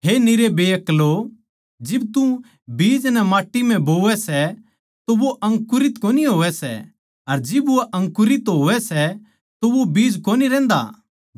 हे निरे बेअक्लो जिब तू बीज नै माट्टी म्ह बोवै सै तो वो अंकुरित कोनी होवै सै अर जिब वो अंकुरित होवै सै तो वो बीज कोनी रहन्दा